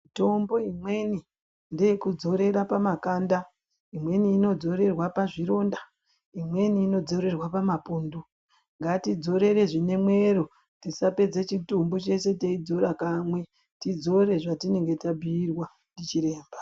Mitombo imweni ngeyekudzorere pamakanda, imweni inodzorerwe pazvironda, imweni inodzorerwe pamapundu ,ngatidzorere zvine mwero tisapedze chitubu cheshe teidzora kamwe tidzore zvatinenge tabhuyirwa ndichiremba.